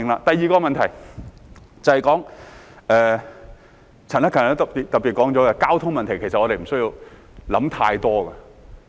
第二個問題，便是陳克勤議員也特別提到的交通問題，其實我們無須想太多。